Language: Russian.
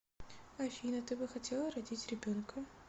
афина ты бы хотела родить ребенка